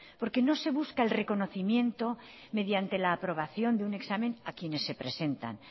porque no se busca el reconocimiento mediante la aprobación de un examen a quienes se presentan